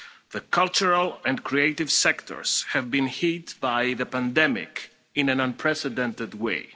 The cultural and creative sectors have been hit by the pandemic in an unprecedented way.